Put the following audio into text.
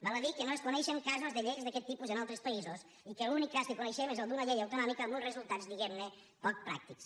val a dir que no es coneixen casos de lleis d’aquest tipus en altres països i que l’únic cas que coneixem és el d’una llei autonòmica amb uns resultats diguem ne poc pràctics